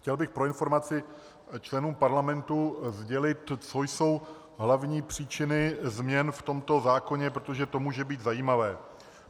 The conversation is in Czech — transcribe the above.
Chtěl bych pro informaci členů parlamentu sdělit, co jsou hlavní příčiny změn v tomto zákoně, protože to může být zajímavé.